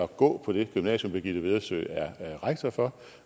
gå på det gymnasium birgitte vedersø er rektor for